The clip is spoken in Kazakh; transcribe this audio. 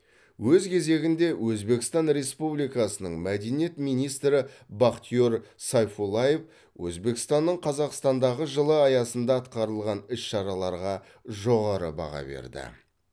өз кезегінде өзбекстан республикасының мәдениет министрі бахтиер сайфуллаев өзбекстанның қазақстандағы жылы аясында атқарылған іс шараларға жоғары баға берді